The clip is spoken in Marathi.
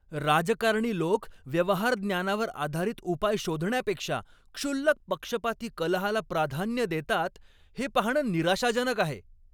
राजकारणी लोक व्यवहार ज्ञानावर आधारित उपाय शोधण्यापेक्षा क्षुल्लक पक्षपाती कलहाला प्राधान्य देतात हे पाहणं निराशाजनक आहे.